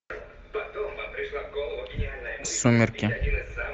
сумерки